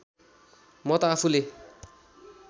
म त आफूले